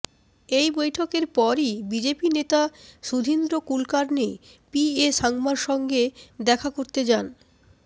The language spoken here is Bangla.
এই বৈঠকের পরই বিজেপি নেতা সুধীন্দ্র কুলকার্নি পি এ সাংমার সঙ্গে দেখা করতে যান